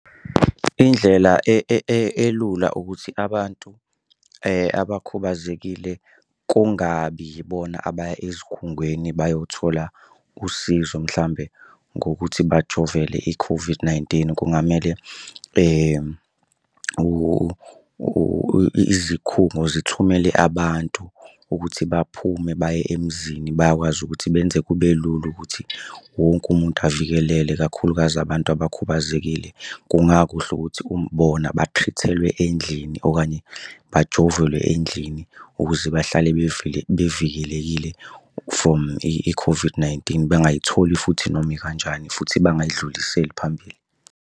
Indlela elula ukuthi abantu abakhubazekile kungabi yibona abaya ezikhungweni bayothola usizo mhlawumbe ngokuthi bajovele i-COVID-19. Kungamele izikhungo zithumele abantu ukuthi baphume baye emzini bayakwazi ukuthi benze kube lula ukuthi wonke umuntu avikelele kakhulukazi abantu abakhubazekile. Kungakuhle ukuthi bona endlini okanye bajovelwe endlini ukuze bahlale bevikelekile from i-COVID-19 bengayitholi futhi noma ikanjani futhi bangayidluliseli phambili.